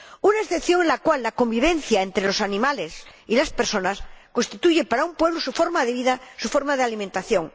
Una excepción en la cual la convivencia entre los animales y las personas constituye para un pueblo su forma de vida, su forma de alimentación.